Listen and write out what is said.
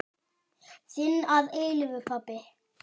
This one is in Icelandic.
Þinn að eilífu, pabbi.